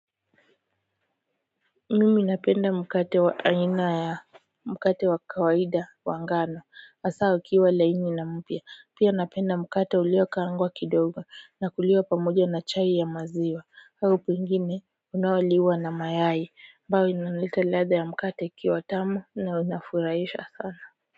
Mimi napenda mkate wa aina ya mkate wa kawaida wa ngano hasa ukiwa laini na mpya pia napenda mkate ulio kaangwa kidogo inakuliwa pamoja na chai ya maziwa au pengine inayoliwa na mayai ambayo inaleta ladha ya mkate ikiwa tamu na unafurahisha sana.